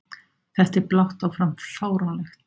Þetta er blátt áfram fáránlegt!